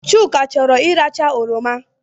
Chuka chọrọ iracha oroma